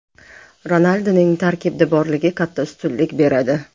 Ronalduning tarkibda borligi katta ustunlik beradi.